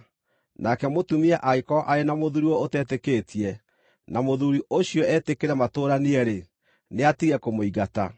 Nake mũtumia angĩkorwo arĩ na mũthuuri ũtetĩkĩtie, na mũthuuri ũcio etĩkĩre matũũranie-rĩ, nĩatige kũmũingata.